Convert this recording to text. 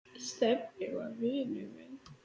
Stebbi var vinur minn.